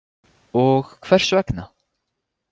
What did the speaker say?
Og hvers vegna?